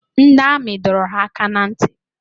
Ndị amị dọrọ ha aka n'nti